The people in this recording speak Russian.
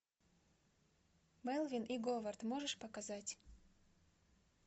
мелвин и говард можешь показать